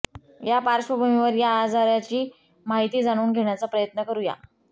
या पार्श्वभूमीवर या आजाराची माहिती जाणून घेण्याचा प्रयत्न करुया